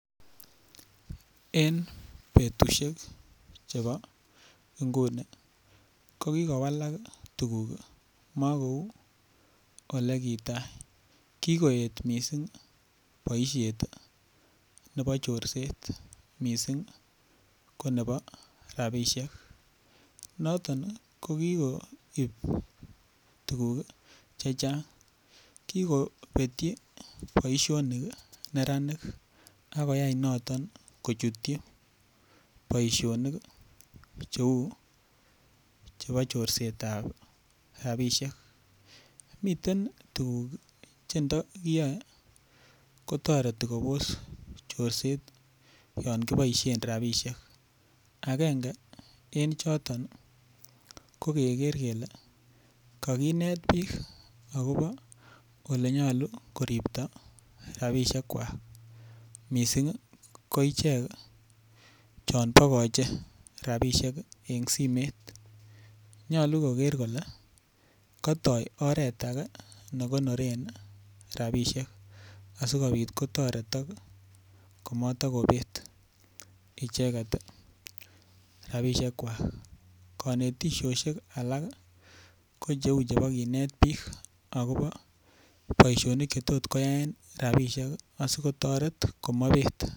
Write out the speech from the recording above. En betushek chebo nguni, ko kigowalak tuguk mokou ole kita, kigoet miisng boisiet nebo chorset mising ko nebo rabishek. Noton ko kigoib tuguk che chang, kigobetyi boisionik neranik ak koyai noton kochutyi boisiionik cheu chebo chorset ab rabishek. Miten tuguk che ndokiyoe kotoreti kobos chorset yon kiboisien rabishek. Agenge en choton ko: keger kele kaginet biik agobo ole nyolu koripto rabishekwak mising koichek cheon bogoche rabishek en simet. Nyolu koger kole kotou oret age ne konoren rabishek asikobit kotoretok komotokobet icheget rabishekwak. Konetishosiek alak ko cheu chebo kinet biik agobo boisionik che tot koyaen rabishek asikotoret komaibet.